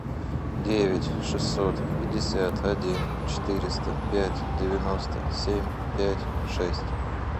девять шестьсот пятьдесят один четыреста пять девяносто семь пять шесть